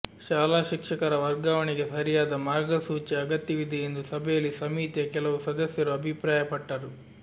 ಶಾಲಾ ಶಿಕ್ಷಕರ ವರ್ಗಾವಣೆಗೆ ಸರಿಯಾದ ಮಾರ್ಗಸೂಚಿಯ ಅಗತ್ಯವಿದೆ ಎಂದು ಸಭೆಯಲ್ಲಿ ಸಮಿತಿಯ ಕೆಲವು ಸದಸ್ಯರು ಅಭಿಪ್ರಾಯಪಟ್ಟರು